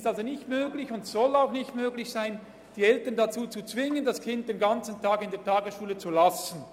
Es ist also nicht möglich und soll auch nicht möglich sein, die Eltern dazu zu zwingen, das Kind den ganzen Tag in der Tagesschule zu lassen.